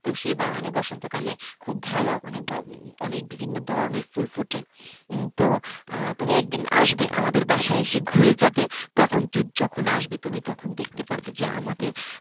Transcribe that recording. তো সে বাগানে বসন্তকালে খুব ভালো অনেক অনেক বিভিন্ন ধরনের ফুল ফোটে তো তুমি একদিন আসবে আমাদের বাসায় এসে ঘুরে যাবে। তখন যখন আসবে তুমি তখন দেখতে পাবে যে আমাদের,